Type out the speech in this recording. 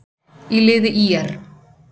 í liði ÍR.